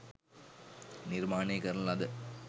නිර්මාණය කරන ලද